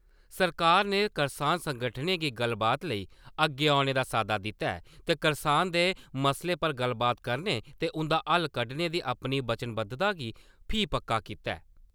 सरकार ने करसान संगठनें गी गल्लबात लेई अग्गे औने दा साद्दा दित्ता ऐ ते करसानें दे मसलें पर गल्लबात करने ते उं'दा हल कड्डने दी अपनी वचनबद्धता गी फ्ही पक्का कीता ऐ।